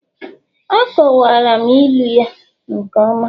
Akọwara m ilu ya nke ọma